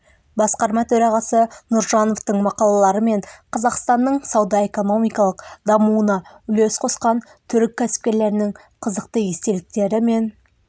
басқарма төрағасы нұржановтың мақалалары мен қазақстанның сауда-экономикалық дамуына үлес қосқан түрік кәсіпкерлерінің қызықты естеліктері мен